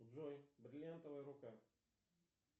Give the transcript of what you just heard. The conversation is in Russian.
джой бриллиантовая рука